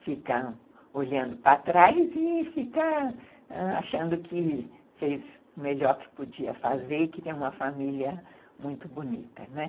fica olhando para trás e fica achando que fez o melhor que podia fazer e que tem uma família muito bonita, né?